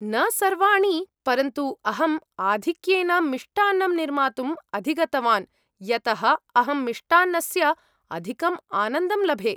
न सर्वाणि, परन्तु अहम् आधिक्येन मिष्टान्नं निर्मातुम् अधिगतवान्, यतः अहं मिष्टान्नस्य अधिकं आनन्दं लभे।